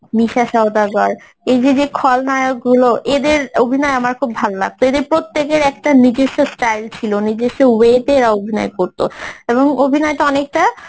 নিশা সওদাগর এই যে যে খলনায়কগুলো এদের অভিনয় আমার খুব ভালো লাগতো এদের প্রত্যেকের একটা নিজস্ব style ছিল নিজস্ব way তে এরা অভিনয় করতো এবং অভিনয়টা অনেকটা